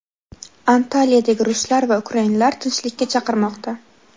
Antaliyadagi ruslar va ukrainlar tinchlikka chaqirmoqda.